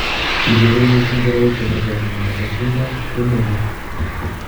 Kigeere missing serikalit koparge ak miondo ,ngoshindwan kiimii ole yaa